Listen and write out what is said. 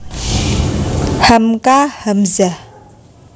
Hamka Hamzah